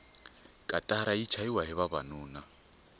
katara yi chayahi vavanuna